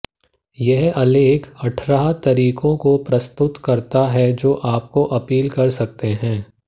यह आलेख अठारह तरीकों को प्रस्तुत करता है जो आपको अपील कर सकते हैं